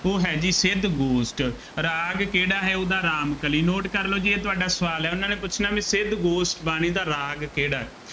ਉਹ ਹੈ ਜੀ ਸਿੱਧ ਗੋਸ਼ਟ, ਰਾਗ ਕਿਹੜਾ ਹੈ ਉਹਦਾ, ਰਾਮ ਕਲੀ, note ਕਰ ਲਉ ਜੀ ਇਹ ਤੁਹਾਡਾ ਸਵਾਲ ਹੈ, ਉਹਨਾ ਨੇ ਪੁੱਛਣਾ ਬਈ ਸਿੱਧ ਗੋਸ਼ਟ ਬਾਣੀ ਦਾ ਰਾਗ ਕਿਹੜਾ